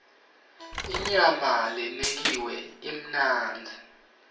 inyama lenekiwe imnandzi